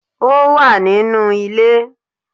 Ó wà nínú ilé